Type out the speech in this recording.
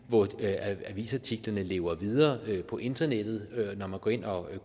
avisartiklerne lever videre på internettet når man går ind og